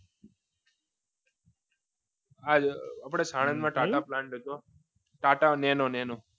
આપણે સાણંદમાં ટાટા plant બનતો ટાટા નેનો